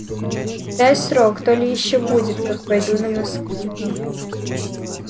дай срок то ли ещё будет как пойду на москву